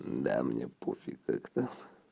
да мне пофиг как-то